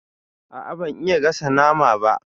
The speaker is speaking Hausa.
A'a, ban iya gasa nama ba.